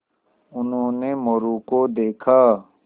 उन्होंने मोरू को देखा